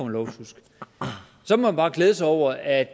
lovsjusk så må man bare glæde sig over at